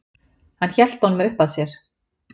Hann hélt honum uppað sér.